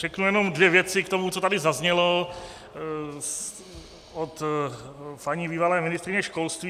Řeknu jenom dvě věci k tomu, co tady zaznělo od paní bývalé ministryně školství.